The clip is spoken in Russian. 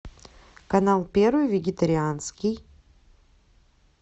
канал первый вегетарианский